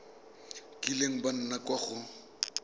kileng ba nna kwa go